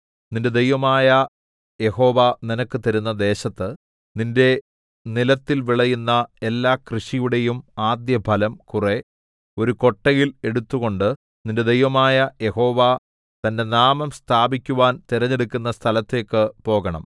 നിന്റെ ദൈവമായ യഹോവ നിനക്ക് തരുന്ന ദേശത്ത് നിന്റെ നിലത്തിൽ വിളയുന്ന എല്ലാ കൃഷിയുടെയും ആദ്യഫലം കുറെ ഒരു കൊട്ടയിൽ എടുത്തുകൊണ്ട് നിന്റെ ദൈവമായ യഹോവ തന്റെ നാമം സ്ഥാപിക്കുവാൻ തിരഞ്ഞെടുക്കുന്ന സ്ഥലത്തേക്ക് പോകണം